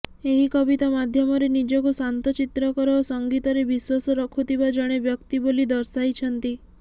ଏହି କବିତା ମାଧ୍ୟମରେ ନିଜକୁ ଶାନ୍ତ ଚିତ୍ରକର ଓ ସଙ୍ଗୀତରେ ବିଶ୍ୱାସ ରଖୁଥିବା ଜଣେ ବ୍ୟକ୍ତି ବୋଲି ଦର୍ଶାଇଛନ୍ତି